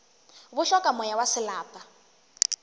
bo hloka moya wa selapa